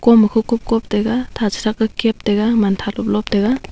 koma cococop taiga tha chretha cap taiga mantha loplop taiga.